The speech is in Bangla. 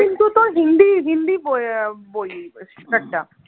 কিন্তু তোর হিন্দি হিন্দি আহ বই শাটার টা